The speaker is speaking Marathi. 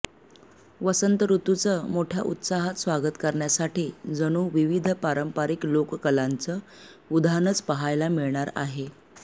वसंत ऋतूचं मोठ्या उत्साहात स्वागत करण्यासाठी जणू विविध पारंपरिक लोककलांचं उधाणच पाहायला मिळणार आहे